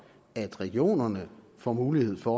regionerne får mulighed for